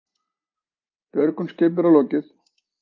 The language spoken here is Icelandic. Björgun skipverja lokið